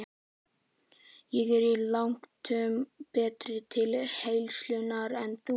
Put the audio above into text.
Ég er langtum betri til heilsunnar en þú.